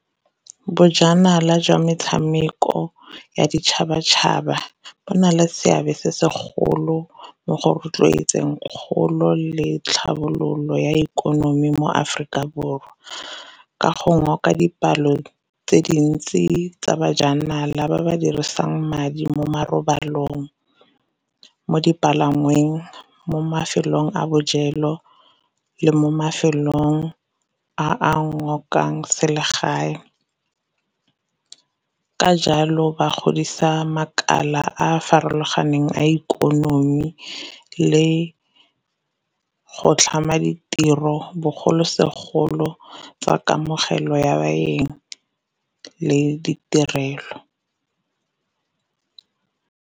Bojanala jwa metshameko ya ditšhabatšhaba bo na le seabe se segolo mo go rotloetseng kgolo le tlhabololo ya ikonomi mo Aforika Borwa, ka go ngoka dipalo tse dintsi tsa bajanala ba ba dirisang madi mo marobalong, mo dipalangweng, mo mafelong a bojelo, le mo mafelong a a ngokang selegae. Ka jalo ba godisa makala a farologaneng a ikonomi le go tlhama ditiro bogolosegolo tsa kamogelo ya baeng le ditirelo.